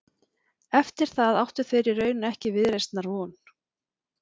Eftir það áttu þeir í raun ekki viðreisnarvon.